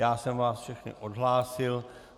Já jsem vás všechny odhlásil.